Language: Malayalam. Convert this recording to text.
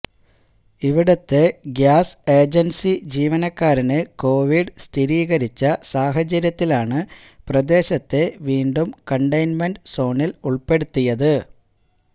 ഇവിടത്തെ ഗ്യാസ് ഏജൻസി ജീവനക്കാരന് കോവിഡ് സ്ഥിരീകരിച്ച സാഹചര്യത്തിലാണ് പ്രദേശത്തെ വീണ്ടും കണ്ടെയ്ൻമെന്റ് സോണിൽ ഉൾപ്പെടുത്തിയത്